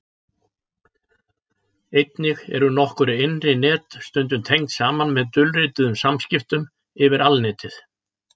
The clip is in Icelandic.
Einnig eru nokkur innri net stundum tengd saman með dulrituðum samskiptum yfir Alnetið.